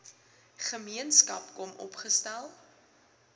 gemeenskap kom opgestel